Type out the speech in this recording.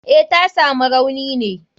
Eh, tasamu rauni ne.